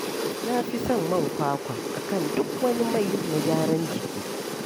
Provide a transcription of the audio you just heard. Na fi son man kwakwa a kan duk wani mai na gyaran jiki